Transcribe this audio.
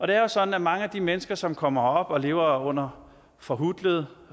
det er jo sådan at mange af de mennesker som kommer herop og lever under forhutlede